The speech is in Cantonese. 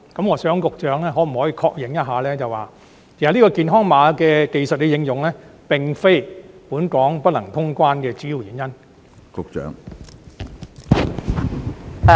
我想問局長可否確認一下，健康碼技術的應用，並非本港不能通關的主要原因？